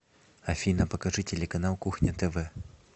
афина покажи телеканал кухня тв